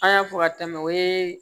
An y'a fɔ ka tɛmɛ o ye